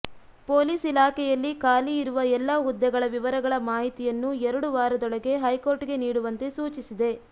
police ಇಲಾಖೆಯಲ್ಲಿ ಖಾಲಿ ಇರುವ ಎಲ್ಲ ಹುದ್ದೆಗಳ ವಿವರಗಳ ಮಾಹಿತಿಯನ್ನೂ ಎರಡು ವಾರದೊಳಗೆ ಹೈಕೋರ್ಟ್ಗೆ ನೀಡುವಂತೆ ಸೂಚಿಸಿದೆ